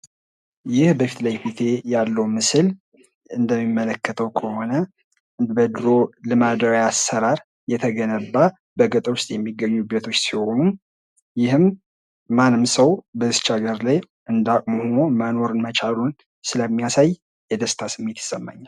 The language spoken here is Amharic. ይህ በፊትለፊቴ ያለው ምስል እንደሚመለከተው ከሆነ፤ በድሮ ልማዳዊ አሰራር የተገነቡ ቤቶች ሲሆኑ ይህም ማንም ሰው በዚች ሃገር እንዳቅሙ ሆኖ መኖር መቻሉን ስለሚያሳይ ደስታ ይሰማኛል።